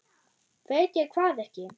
Veit ég hvað ekki?